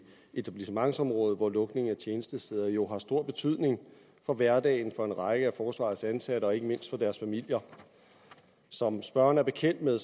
etablissementsområdet hvor lukning af tjenestesteder jo har stor betydning for hverdagen for en række af forsvarets ansatte og ikke mindst for deres familier som spørgeren er bekendt med